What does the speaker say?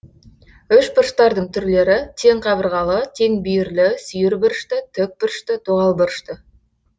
үшбұрыштардың түрлері тең қабырғалы теңбүйірлі сүйірбұрышты тік бұрышты доғал бұрышты